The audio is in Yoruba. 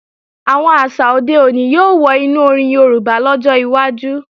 Àwọn àṣà òde òní yóò wọ inú orin Yorùbá lọ́jọ́ iwájú